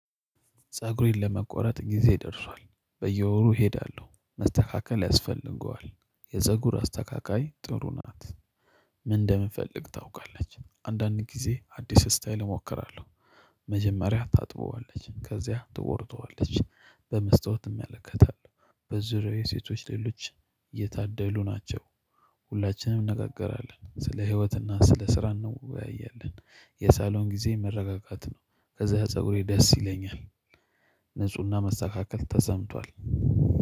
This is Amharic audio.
ፀጉሬን ለመቆረጥ ጊዜ ደርሷል በየወሩ እሄዳለሁ መስተካከል ያስፈልገዋል። የፀጉር አስተካካይ ጥሩ ናት ምን እንደምፈልግ ታውቃለች አንዳንድ ጊዜ አዲስ ስታይል እሞክራለሁ። መጀመሪያ ታጥበዋለች ከዚያ ትወርደዋለች በመስታወት እመለከታለሁ። የሴቶች ሌሎች የታደሉ ናቸው። ሁላችንም እንነጋገራለን ስለ ህይወትና ስለ ስራ እንወያያለን። የሳሎን ጊዜ መረጋጋት ነው። ከዛ ፀጉሬ ደስ ይለኛል። ንፁህና መስተካከል ተሰምቷል